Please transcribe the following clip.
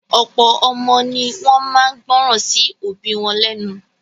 Ọ̀pọ̀ ọmọ ní wọ́n máa ń gbọ́ràn sí òbí wọn lẹ́nu.